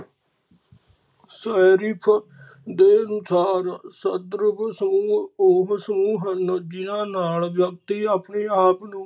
ਦੇ ਅਨੁਸਾਰ ਸਦਰੂਪ ਸਮੂਹ ਉਹ ਸਮੂਹ ਹਨ ਜਿਨਾਂ ਨਾਲ ਵਿਅਕਤੀ ਆਪਣੇ ਆਪ ਨੂੰ